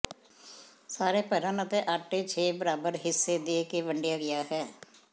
ਸਾਰੇ ਭਰਨ ਅਤੇ ਆਟੇ ਛੇ ਬਰਾਬਰ ਹਿੱਸੇ ਦੇ ਕੇ ਵੰਡਿਆ ਗਿਆ ਹੈ